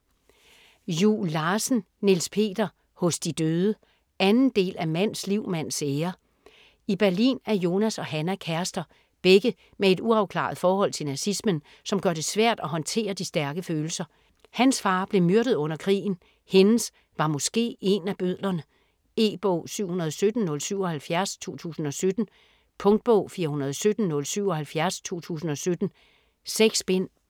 Juel Larsen, Niels Peter: Hos de døde 2. del af Mands liv, mands ære. I Berlin er Jonas og Hannah kærester - begge med et uafklaret forhold til nazismen, som gør det svært at håndtere de stærke følelser. Hans far blev myrdet under krigen, hendes var måske én af bødlerne. E-bog 717077 2017. Punktbog 417077 2017. 6 bind.